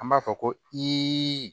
An b'a fɔ ko iiiii